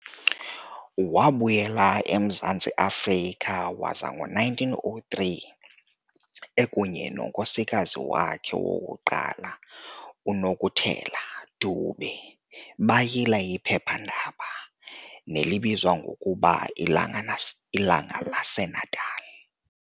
Wabuyela emZantsi Afrika, waza ngo-1903 ekunye nenkosikazi yakhe yokuqala, uNokutela Dube, bayila iphepha-ndaba, nelibizwa ngokuba ilanga l'Ilanga lase Natal".